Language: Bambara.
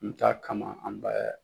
N mi taa kama an bɛ